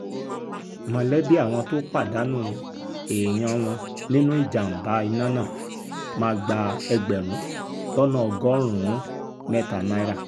mọ̀lẹ́bí àwọn tó pàdánù èèyàn wọn nínú ìjàm̀bá iná náà máa gba ẹgbẹ̀rún lọ́nà ọgọ́rùn-ún mẹ́ta náírà